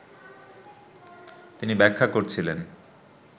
তিনি ব্যাখ্যা করছিলেন